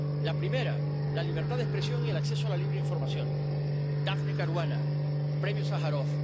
La primera, la libertad de expresión y el acceso a la libre información Daphne Caruana, el Premio Sájarov.